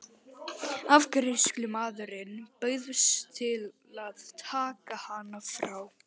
Afgreiðslumaðurinn bauðst til að taka hana frá.